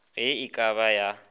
ge e ka ba ya